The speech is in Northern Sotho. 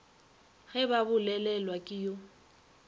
ge ba bolelelwa ke yo